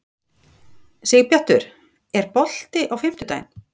Sigbjartur, er bolti á fimmtudaginn?